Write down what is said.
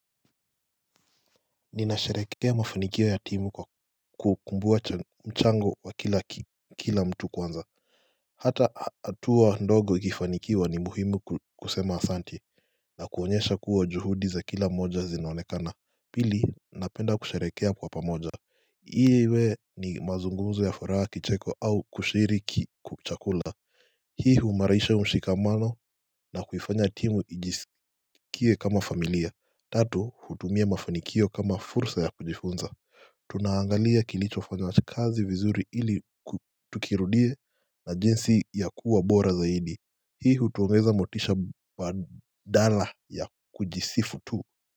Ninasherehekea mafanikio ya timu kwa kukumbua mchango wa kila mtu kwanza Hata hatua ndogo ikifanikiwa ni muhimu kusema asanti na kuonyesha kuwa juhudi za kila moja zinaonekana Pili napenda kusherehekea kwa pamoja pia iwe ni mazungumzo ya furaha kicheko au kushiriki chakula Hii huimarisha mshikamano na kuifanya timu ijisikie kama familia Tatu hutumia mafanikio kama fursa ya kujifunza tunaangalia kilichofanywa kazi vizuri ili tukirudie na jinsi ya kuwa bora zaidi hii hutuongeza motisha badala ya kujisifu tu.